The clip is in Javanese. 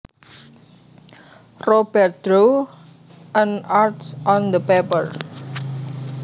Robert drew an arch on the paper